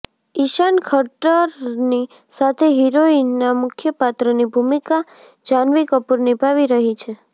ઈશાન ખટ્ટરની સાથે હિરોઈનના મુખ્ય પાત્રની ભૂમિકા જાહનવી કપૂર નિભાવી રહી છે